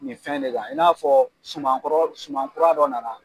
Nin fɛn de kan, i n'a fɔɔ suman kɔrɔ suman kura dɔ nana